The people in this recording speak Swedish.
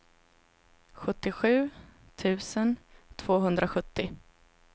sjuttiosju tusen tvåhundrasjuttio